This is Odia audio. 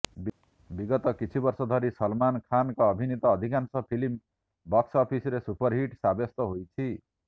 ବିଗତ କିଛି ବର୍ଷ ଧରି ସଲମାନ୍ ଖାନ୍ଙ୍କ ଅଭିନୀତ ଅଧିକାଂଶ ଫିଲ୍ମ ବକ୍ସ ଅଫିସରେ ସୁପରହିଟ୍ ସାବ୍ୟସ୍ତ ହୋଇଛି